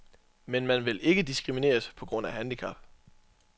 Men man vil ikke diskrimineres på grund af handicap.